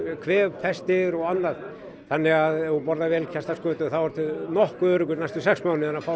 kvefpestir og annað þannig að ef þú borðar vel kæsta skötu þá ertu nokkuð öruggur næstu sex mánuði að fá